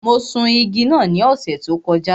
Mo sun igi náà ní ọ̀sẹ̀ tó kọjá.